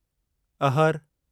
अहर